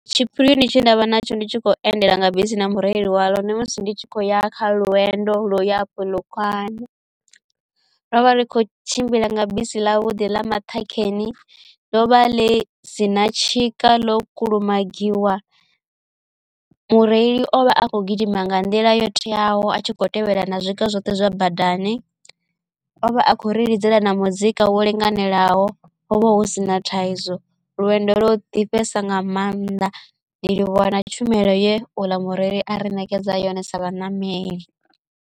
Tshipirioni tshe ndavha natsho ndi tshi khou endela nga bisi na mureli walo ndi musi ndi tshi khou ya kha lwendo lu yapo lukanda ro vha ri kho tshimbila nga bisi ḽa vhuḓi ḽa maṱhakheni ḽo vha ḽi sina tshika ḽo kulumagiwa mureili o vha a kho gidima nga nḓila yo teaho a tshikho tevhedzela na zwiga zwoṱhe zwa badani o vha a khou ri lidzela na muzika wo linganelaho hovha hu sina thaidzo lwendo lwo ḓifhesa nga maanḓa ndi livhuwa na tshumelo ye uḽa mureili a ri ṋekedza yone sa vhaṋameli.